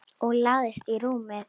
Og lagðist í rúmið.